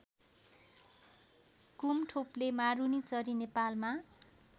कुमथोप्ले मारुनीचरी नेपालमा